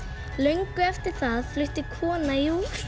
löngu eftir það flutti kona í